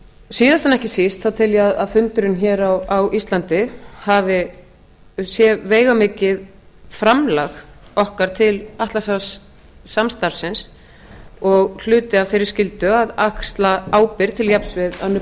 en ekki síst þá tel ég að fundurinn hér á íslandi sé veigamikið framlag okkar til atlantshafssamstarfsins og hluti af þeirri skyldu að axla ábyrgð til jafns við önnur